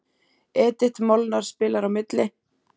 Edith Molnar spilar á milli.